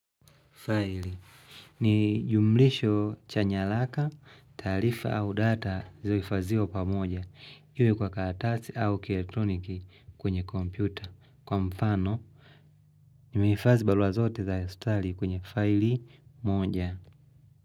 Faili ni jumlisho chanyalaka, taarifa au data zioifazio pa moja. Iwe kwa katarasi au kieltoniki kwenye kompyuta. Kwa mfano, nimeifazi baluwa zote za Australia kwenye faili moja.